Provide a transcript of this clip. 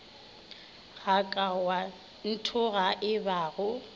ga ka wa nthogaka ebago